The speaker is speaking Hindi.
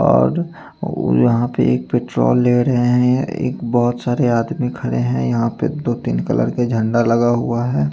और यहा पे एक पेट्रोल ले रहे है एक बोहोत सारे आदमी खड़े है यहा पे दो तिन कलर के झंडा लगा हुआ है।